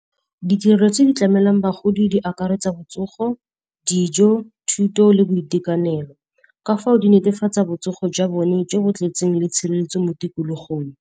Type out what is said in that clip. Ditirerelo tse di tlamelwang bagodi di akaretsa botsogo, dijo, thuto le boitekanelo. Ka fao di netefatsa botsogo jwa bone jo bo tletseng le tshireletso mo tikologong.